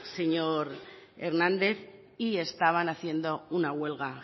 señor hernández y estaban haciendo una huelga